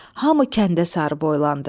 Hamı kəndə sarı boylandı.